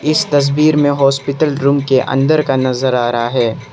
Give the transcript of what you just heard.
इस तस्वीर में हॉस्पिटल रूम के अंदर का नजर आ रहा है।